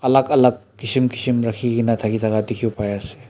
Alak alak kishim kishim rakhi kena thaki thaka dekhibo pari ase.